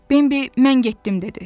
Bəbi: "Mən getdim" dedi.